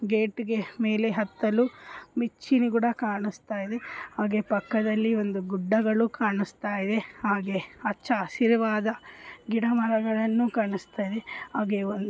ಗೇಟಿಗೆ ಮೇಲೆ ಹತ್ತಲು ಮೆಚ್ಚಿನಗಳು ಕೂಡ ಕಾಣಿಸ್ತಾ ಇದೆ ಹಾಗೆ ಪಕ್ಕದಲ್ಲಿ ಒಂದು ಗುಡ್ಡ ಗಳು ಕಾಣಿಸ್ತಾ ಇದೆ ಹಾಗೆ ಹಚ್ಚ ಹಸಿರಾದ ಗಿಡ ಮರಗಳನ್ನು ಕಾಣಿಸ್ತಾ ಇದೆ ಹಾಗೆ ಒಂದು--